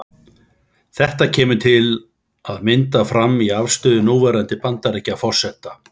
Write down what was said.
Þetta kemur til að mynda fram í afstöðu núverandi Bandaríkjaforseta.